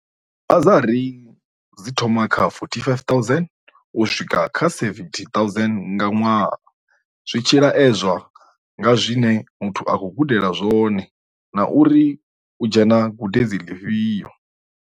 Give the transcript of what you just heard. Bazari dzi thoma kha R45 000 u swika R70 000 nga ṅwaha, zwi tshi laedzwa nga zwi ne muthu a khou gudela zwone na uri u dzhena gudedzini ḽifhio.